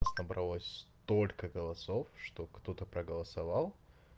у нас набралось столько голосов что кто-то проголосовал